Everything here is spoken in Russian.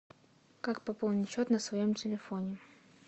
как пополнить счет на своем телефоне